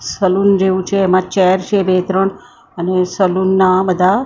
salon જેવુ છે એમાં ચેર છે બે ત્રણ અને સલૂન નાં બધા --